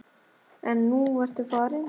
En nú ertu farin.